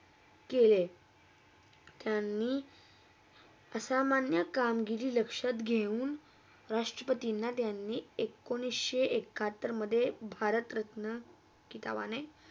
केले त्यांनी असा मांनीय कामगिरी लक्षात घेऊन राष्ट्रपतिना त्यांनी एकोणीशे एकाहत्तरमधे भारत रत्ना किताबाने